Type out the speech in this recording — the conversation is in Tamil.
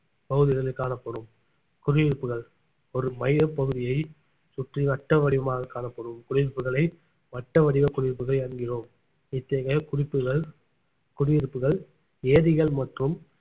பகுதிகளில் காணப்படும் குடியிருப்புகள் ஒரு மையப்பகுதியை சுற்றி வட்ட வடிவமாக காணப்படும் குடியிருப்புகளை வட்ட வடிவ குடியிருப்புகள் என்கிறோம் இத்தகைய குறிப்புகள் குடியிருப்புகள் ஏரிகள் மற்றும்